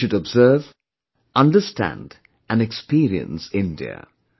You should observe, understand and experience India